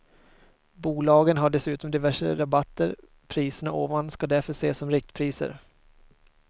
Bolagen har dessutom diverse rabatter, priserna ovan ska därför ses som riktpriser.